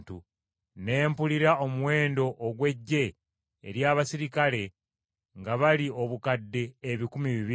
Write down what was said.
Ne mpulira omuwendo ogw’eggye ery’abaserikale nga bali obukadde ebikumi bibiri.